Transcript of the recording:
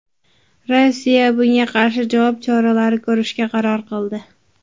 Rossiya bunga qarshi javob choralari ko‘rishga qaror qildi.